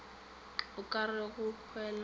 a ka re go hwela